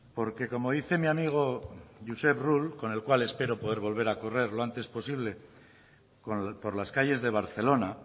porque como dice mi amigo josep rull con el cual espero poder volver a correr lo antes posible por las calles de barcelona